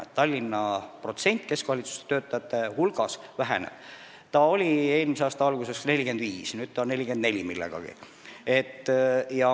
Nii et Tallinnas asuvate keskvalitsuse töötajate protsent väheneb: eelmise aasta alguses oli see 45, nüüd on 44 millegagi.